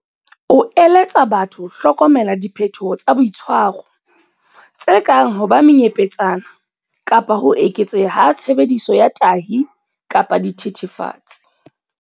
O eletsa batho ho hlokomela diphetoho tsa boitshwaro, tse kang ho ba menyepetsana kapa ho eketseha ha tshebediso ya tahi kapa dithethefatsi.